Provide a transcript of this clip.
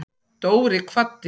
Dóri kvaddi.